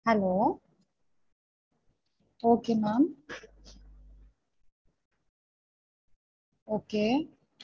Hello okay ma'am okay.